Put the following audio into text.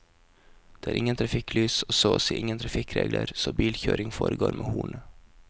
Det er ingen trafikklys og så å si ingen trafikkregler, så bilkjøring foregår med hornet.